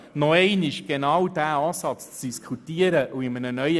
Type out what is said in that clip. Wenn Sie zum Parking gehen möchten, müssen Sie den Weg untendurch benutzen.